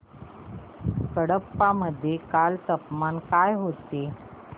कडप्पा मध्ये काल तापमान काय होते